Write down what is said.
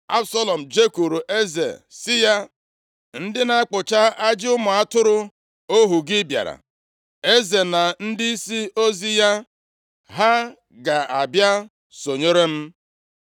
Absalọm jekwuuru eze sị ya, “Ndị na-akpụcha ajị ụmụ atụrụ ohu gị bịara. Eze na ndịisi ozi ya, ha ga-abịa sonyere m?”